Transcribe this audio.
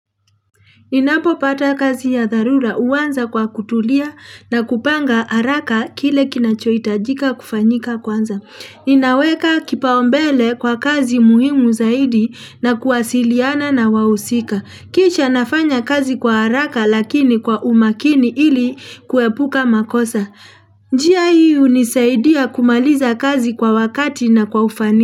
Inapo pata kazi ya tharura uwanza kwa kutulia na kupanga haraka kile kinachoitajika kufanyika kwanza. Inaweka kipaombele kwa kazi muhimu zaidi na kuwasiliana na wahusika. Kisha nafanya kazi kwa haraka lakini kwa umakini ili kuepuka makosa. Njia hii unisaidia kumaliza kazi kwa wakati na kwa ufani.